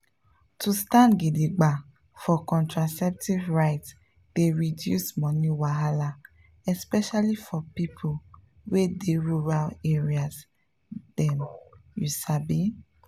to stand gidigba for contraceptive rights dey reduce money wahala especially for people wey dey rural area dem you sabi?